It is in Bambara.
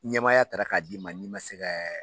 Ɲamamaya taara ka d'ma n'i ma se kɛ